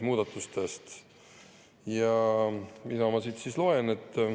Ja mida ma siit loen?